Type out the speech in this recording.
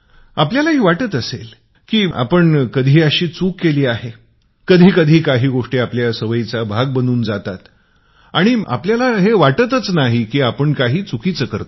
आपण अशा चुकीच्या सवयींचा एक भाग बनून जातो